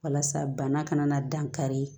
Walasa bana kana na dan kari